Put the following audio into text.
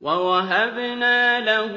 وَوَهَبْنَا لَهُ